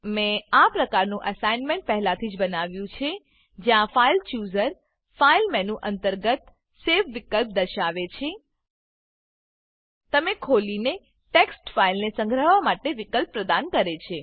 મેં આ પ્રકારનું એસાઈનમેંટ પહેલાથી જ બનાવ્યું છે જ્યાં file chooser file chooser file menu અંતર્ગત સવે સેવ વિકલ્પ દર્શાવે છે અને તમને તમે ખોલેલી ટેક્સ્ટ ફાઈલને સંગ્રહવા માટે વિકલ્પ પ્રદાન કરે છે